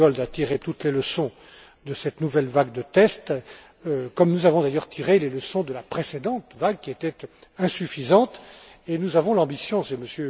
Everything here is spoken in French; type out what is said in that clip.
M. Giegold a tiré toutes les leçons de cette nouvelle vague de tests, comme nous avons d'ailleurs tiré les leçons de la précédente vague qui était insuffisante et nous avons l'ambition, c'est